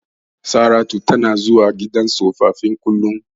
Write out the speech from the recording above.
Saratu tana zuwa gidan tsofaffi kullum.